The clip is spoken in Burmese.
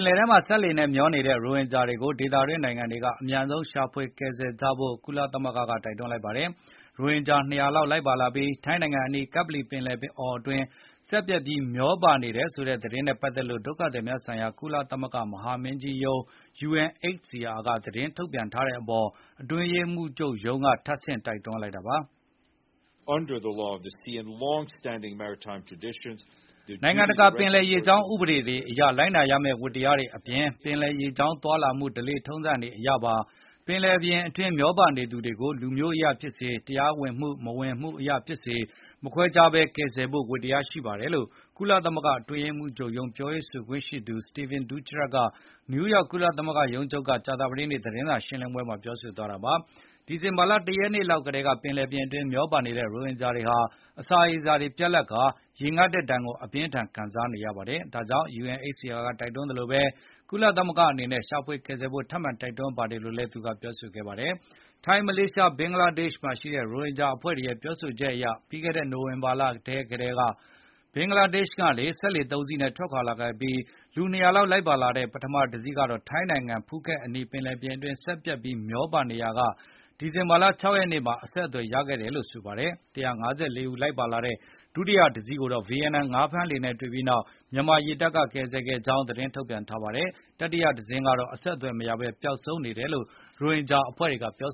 ်လယ်ထဲမှာ စက်လှေနဲ့ မျောနေတဲ့ ရိုဟင်ဂျာတွေကို ဒေသတွင်း နိုင်ငံတွေက အမြန်ဆုံးရှာဖွေကယ်ဆယ်ကြဖို့ ကုလသမဂ္ဂက တိုက်တွန်းလိုက်ပါတယ်။ ရိုဟင်ဂျာ ၂၀၀ လောက် လိုက်ပါလာပြီး ထိုင်းနိုင်ငံအနီး ကပ္ပလီပင်လယ်အော်အတွင်း စက်ပျက်ပြီးမျောပါနေတယ်ဆိုတဲ့ သတင်းနဲ့ ပတ်သက်လို့ ဒုက္ခသည်များဆိုင်ရာ ကုလသမဂ္ဂ မဟာမင်းကြီးရုံး UNHCR က သတင်းထုတ်ပြန်ထားတဲ့အပေါ် အတွင်းရေးမှူးချုပ်ရုံးက ထပ်ဆင့်တိုက်တွန်းလိုက်တာပါ။ “ နိုင်ငံတကာ ပင်လယ်ရေကြောင်း ဥပဒေတွေအရ လိုက်နာရမဲ့ ဝတ္တရားတွေအပြင်၊ ပင်လယ်ရေကြောင်းသွားလာမှု ဓလေ့ထုံးစံတွေအရပါ၊ ပင်လယ်ပြင်အတွင်း မျောပါနေသူတွေကို လူမျိုးအရဖြစ်စေ၊ တရားဝင်မှုမဝင်မှုအရဖြစ်စေ မခွဲခြားဘဲ ကယ်ဆယ်ဖို့ ဝတ္တရားရှိပါတယ်" လို့ ကုလသမဂ္ဂအတွင်းရေးမှူးချုပ်ရုံး ပြောခွင့်ရ Stephane Dujarric က နယူးယောက် ကုလသမဂ္ဂရုံးချုပ်က ကြာသပတေးနေ့ သတင်းစာ ရှင်းလင်းပွဲမှာ ပြောဆိုသွားတာပါ။ ဒီဇင်ဘာလ ၁ ရက်နေ့ လောက်ကတည်းက ပင်လယ်ပြင်အတွင်း မျောပါနေတဲ့ ရိုဟင်ဂျာတွေဟာ၊ အစာရေစာပြတ်လပ်ကာ၊ ရေငတ်တဲ့ဒါဏ်ကို အပြင်းအထန်ခံစားနေပါတယ်။ ဒါကြောင့် UNHCR က တိုက်တွန်းသလို ကုလသမဂ္ဂအနေနဲ့ ရှာဖွေကယ်ဆယ်ဖို့ ထပ်မံတိုက်တွန်း ပါတယ်လို့လည်း ပြောဆိုပါတယ်။ ထိုင်း၊ မလေးရှားနဲ့ ဘင်္ဂလားဒေ့ရှ်မှာရှိတဲ့ ရိုဟင်ဂျာအဖွဲ့တွေရဲ့ ပြောဆိုချက်အရ ပြီးခဲ့တဲ့ နိုဝင်ဘာလထဲကတည်းက ဘင်္ဂလားဒေ့ရှ်ကနေ စက်လှေ ၃ စီး ထွက်ခွါလာခဲ့ပြီး၊ လူ ၂၀၀ လောက်လိုက်ပါလာတဲ့ ပထမ တစီးကတော့ ထိုင်းနိုင်ငံ ဖူခက်အနီး ပင်လယ်ပြင်အတွင်း စက်ပျက်ပြီး မျောပါနေရောက ဒီဇင်ဘာလ ၆ ရက်နေ့မှာ အဆက်အသွယ်ရခဲ့တယ်လို့ ဆိုပါတယ်။ ၁၅၄ ဦးလိုက်ပါလာတဲ့ ဒုတိယတစီးကိုတော့ ဗီယက်နမ် ငါးဖမ်းလှေနဲ့ တွေပြီးနောက် မြန်မာရေတပ်က ကယ်ဆယ်ခဲ့ကြောင်း သတင်းထုတ်ပြန်ထားတာပါ။ တတိယ တစင်းကတော့ အဆက်အသွယ်မရဘဲ ပျောက်ဆုံးနေတယ်လို့လည်း ရိုဟင်ဂျာ အဖွဲ့တွေက ပြော